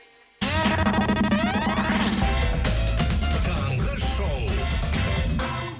таңғы шоу